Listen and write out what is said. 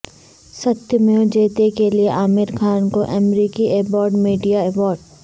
ستیہ میو جیتے کے لیے عامر خان کو امریکی ایبراڈ میڈیا ایوارڈ